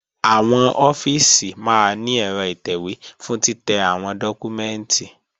Àwọn ọ́fíìsì máa ní ẹ̀rọ ìtẹ̀wé fún títẹ́ àwọn dọ́kúmẹ́ǹtì